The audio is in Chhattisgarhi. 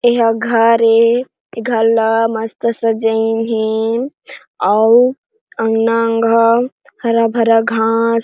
एहा घर हे ए घर ला मस्त सजाइन हे अउ अंगना अंग ह हरा-भरा घास--